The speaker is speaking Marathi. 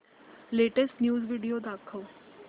लेटेस्ट न्यूज व्हिडिओ दाखव